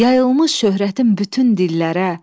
Yayılmış şöhrətim bütün dillərə,